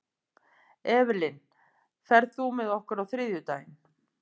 Evelyn, ferð þú með okkur á þriðjudaginn?